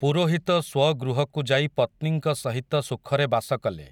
ପୁରୋହିତ ସ୍ୱଗୃହକୁ ଯାଇ ପତ୍ନୀଙ୍କ ସହିତ ସୁଖରେ ବାସ କଲେ ।